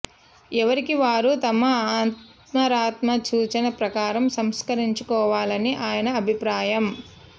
ఎవరికి వారు తమ అంతరాత్మ సూచన ప్రకారం సంస్కరించుకోవాలని ఆయన అభిప్రాయం